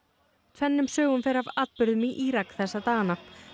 tvennum sögum fer af atburðum í Írak þessa dagana